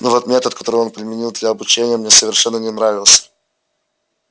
но вот метод который он применил для обучения мне совершенно не нравился